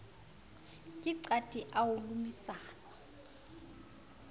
ke qati o a lomisanwa